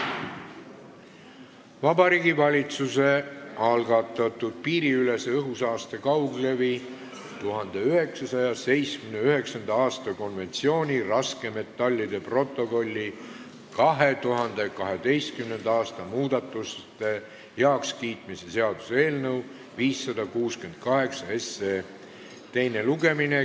Vabariigi Valitsuse algatatud piiriülese õhusaaste kauglevi 1979. aasta konventsiooni raskmetallide protokolli 2012. aasta muudatuste heakskiitmise seaduse eelnõu 568 teine lugemine.